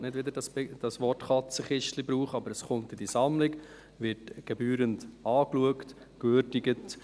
Ich will nicht wieder das Wort «Katzenkistchen» verwenden, aber das Postulat wird in die Sammlung aufgenommen, gebührend angeschaut und gewürdigt.